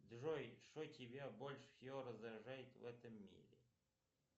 джой что тебя больше всего раздражает в этом мире